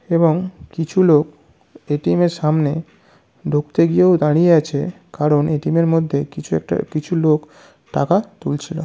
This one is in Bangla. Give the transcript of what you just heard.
এবং কিছু লোক এ.টি.এম. -এর সামনে ঢুকতে গিয়েও দাঁড়িয়ে আছে কারণ এ.টি.এম. -এর মধ্যে কিছু একটা কিছু লোক টাকা তুলছিল।